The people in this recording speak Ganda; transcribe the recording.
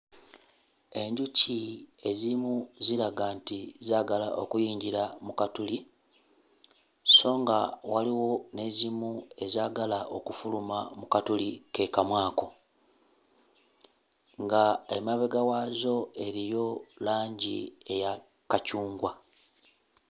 Enjuki ezimu ziraga nti zaagala okuyingira mu katuli sso nga waliwo n'ezimu ezaagala okufuluma mu katuli ke kamu ako, nga emabega waazo eriyo langi eya kacungwa.